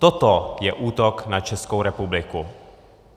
Toto je útok na Českou republiku.